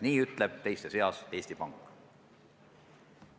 Nii ütleb teiste seas Eesti Pank.